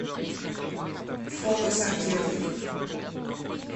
фото сантехникъ